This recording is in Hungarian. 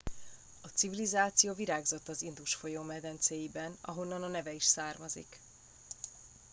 a civilizáció virágzott az indus folyó medencéiben ahonnan a neve is származik